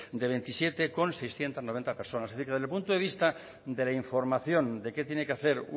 con veintisiete mil seiscientos noventa personas es decir que desde el punto de vista de la información de qué tiene que hacer